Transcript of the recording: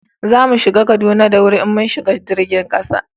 za mu kai Kaduna da wuri in mun shiga jirgin kasa